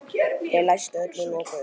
Þeir læstu öllu og lokuðu.